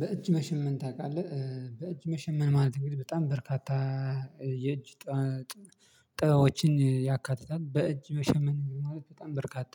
በእጅ መሸመን ታውቃለህ? በእጅ መሸመን ማለት እንግዲህ በጣም በርካታ የእጅ ጥበቦችን ያካትታል በእጅ መሸመን ማለት በጣም በርካታ